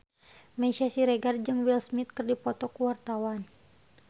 Meisya Siregar jeung Will Smith keur dipoto ku wartawan